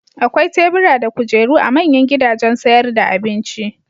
Akwai tebura da kujeru a manyan gidajen sayar da abinci.